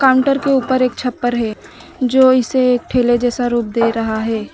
Counter के ऊपर एक छप्पर है जो इसे ठेले जैसा रूप दे रहा है।